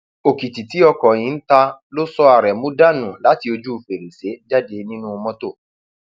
òkìtì tí ọkọ yìí ń ta ló sọ aremu dànù láti ojú fèrèsé jáde nínú mọtò